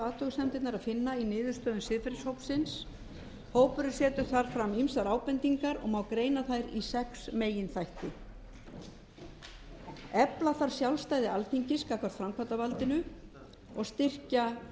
athugasemdirnar að finna í niðurstöðum siðferðishópsins hópurinn setur þar fram ýmsar ábendingar og má greina þær í sex meginþætti fyrstu efla þarf sjálfstæði alþingis gagnvart framkvæmdarvaldinu og styrkja